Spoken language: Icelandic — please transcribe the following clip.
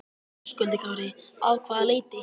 Höskuldur Kári: Að hvaða leyti?